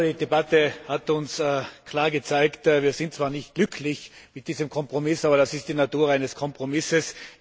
Ich glaube, die Debatte hat uns klar gezeigt Wir sind zwar nicht glücklich mit diesem Kompromiss, aber das ist die Natur eines Kompromisses.